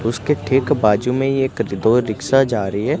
उसके ठीक बाजु में एक दो रिक्शा जा रही है।